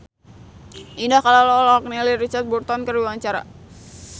Indah Kalalo olohok ningali Richard Burton keur diwawancara